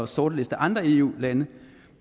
sortliste andre eu lande